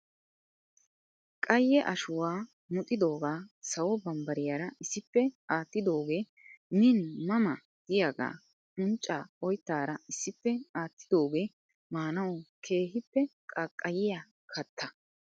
Qayye ashuwaa muxxidooga sawo bambbariyaara issippe aattidooge min ma ma giyaagaa uncca oyttaara issippe aattidooge maanaw keehippe qaaqqayiyya katta .